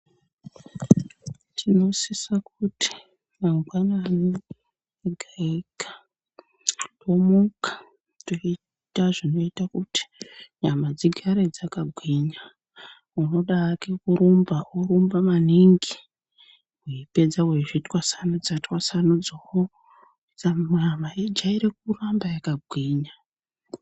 Tinosisa kuti mangwanani egaega tomuka toita zvinoita kuti nyama dzigare dzaka gwinya unoda hake kurumba orumba maningni weipedza weizvitwasanudza twasnudza wo nyama ijaire kugara yakagwinya.